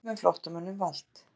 Vörubíll með flóttamönnum valt